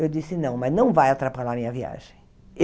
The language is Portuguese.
Eu disse não, mas não vai atrapalhar minha viagem.